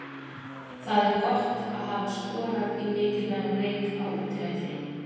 Það er gott að hafa skorað í mikilvægum leik, á útivelli.